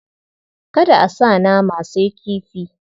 Kada a sa nama, sai kifi.